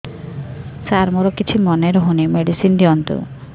ସାର ମୋର କିଛି ମନେ ରହୁନି ମେଡିସିନ ଦିଅନ୍ତୁ